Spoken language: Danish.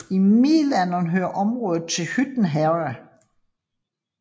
I middelalderen hørte området til Hytten Herred